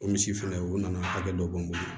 O misi fɛnɛ o nana hakɛ dɔ bɔn bolo